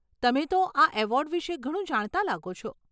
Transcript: તમે તો આ એવોર્ડ વિષે ઘણું જાણતા લાગો છો.